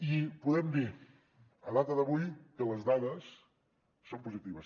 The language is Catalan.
i podem dir a data d’avui que les dades són positives